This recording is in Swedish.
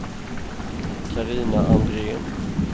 Carina Andrén